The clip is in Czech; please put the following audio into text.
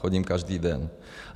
Chodím každý den.